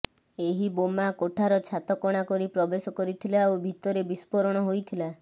ଏହି ବୋମା କୋଠାର ଛାତ କଣା କରି ପ୍ରବେଶ କରିଥିଲା ଓ ଭିତରେ ବିସ୍ଫୋରଣ ହୋଇଥିଲା